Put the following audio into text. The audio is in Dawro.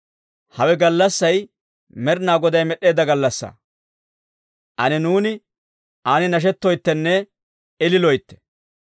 Hawe gallassay Med'inaa Goday med'eedda gallassaa. Ane nuuni an nashettoyttenne ililoytte.